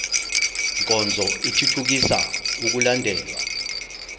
nkonzo ithuthukisa ukulandelwa